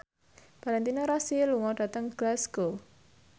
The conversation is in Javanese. Valentino Rossi lunga dhateng Glasgow